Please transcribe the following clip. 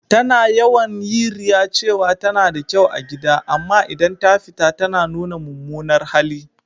Ta na yawan yi riya cewa ta na da kyau a gida, amma idan ta fita ta na nuna mumunar hali.